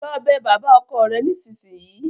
Lọ bẹ bàbá ọkọ rẹ nísinsìnyí!